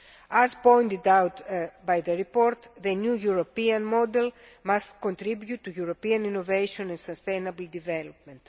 As pointed out in the report, the new European model must contribute to European innovation and sustainable development.